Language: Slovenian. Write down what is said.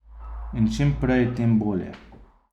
In čim prej, tem bolje.